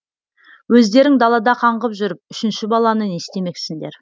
өздерің далада қаңғып жүріп үшінші баланы не істемексіңдер